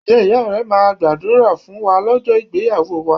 Ǹjẹ́ iya rẹ máa gbàdúrà fún wa lọ́jọ́ ìgbéyàwó wa